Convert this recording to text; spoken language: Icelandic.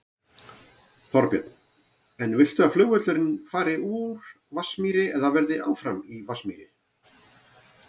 Þorbjörn: En viltu að flugvöllurinn fari úr Vatnsmýri eða verði áfram í Vatnsmýri?